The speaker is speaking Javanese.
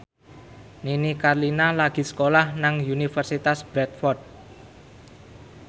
Nini Carlina lagi sekolah nang Universitas Bradford